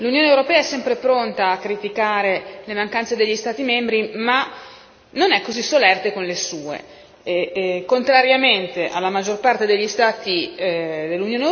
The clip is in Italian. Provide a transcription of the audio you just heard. Signor presidente, signora commissaria, onorevoli colleghi, come spesso accade l'Unione europea è sempre pronta a criticare le mancanze degli Stati membri, ma non è così solerte con le sue.